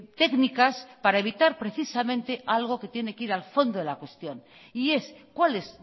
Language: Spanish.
técnicas para evitar precisamente algo que tiene que ir al fondo de la cuestión y es cuál es